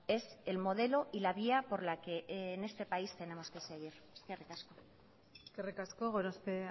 es el modelo y la vía por la que en este país tenemos que seguir eskerrik asko eskerrik asko gorospe